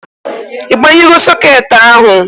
I banyugo soket ahụ?